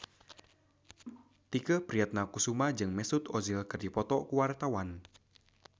Tike Priatnakusuma jeung Mesut Ozil keur dipoto ku wartawan